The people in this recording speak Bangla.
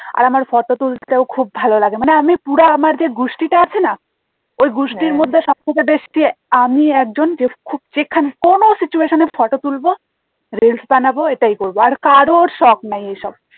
আর আমার photo তুলতেও খুব ভালো লাগে মানে আমি পুরা আমার যে গুষ্টি টা আছে না ওই গুষ্টির মধ্যে সবথেকে বেশি যে আমি একজন যে খুব যেখানে কোনো situation এ photo তুলবো reels বানাবো এটাই করবো আর কারোর সখ নেই এসব